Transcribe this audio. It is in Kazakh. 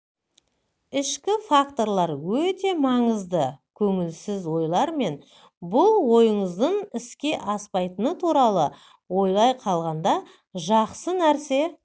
ішкі факторлар өте маңызды көңілсіз ойлар мен бұл ойыңыздың іске аспайтыны туралы ойлай қалғанда жақсы нәрсе